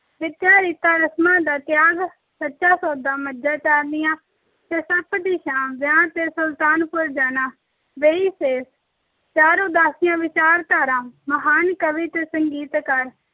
ਵਿੱਚ ਰੀਤਾਂ ਰਸਮਾਂ ਦਾ ਤਿਆਗ, ਸੱਚਾ ਸੌਦਾ, ਮੱਝਾਂ ਚਾਰਨੀਆਂ ਅਤੇ ਸੱਪ ਦੀ ਛਾਂ, ਵਿਆਹ ਕੇ ਸੁਲਤਾਨਪੁਰ ਜਾਣਾ, ਵੇਈਂ ਸ਼ੇਰ, ਚਾਰ ਉਦਾਸੀਆਂ ਵਿਚਾਰਧਾਰਾ, ਮਹਾਨ ਕਵੀ ਅਤੇ ਸੰਗੀਤਕਾਰ